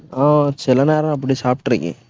ஆஹ் சில நேரம் அப்படி சாப்பிட்டுருக்கேன்